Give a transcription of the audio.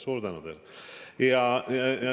Suur tänu teile!